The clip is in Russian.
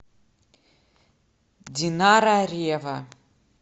динара ревва